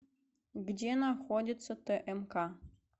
где находится тмк